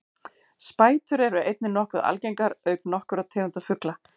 spætur eru einnig nokkuð algengar auk nokkurra tegunda ugla